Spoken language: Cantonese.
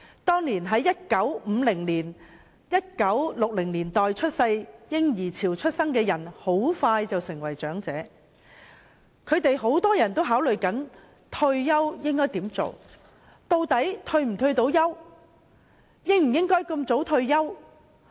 當年在1950、1960年代嬰兒潮出生的人士很快便成為長者，他們很多人都正在考慮以下問題：退休後應該做甚麼？